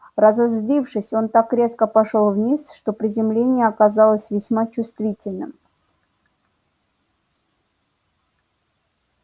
разозлившись он так резко пошёл вниз что приземление оказалось весьма чувствительным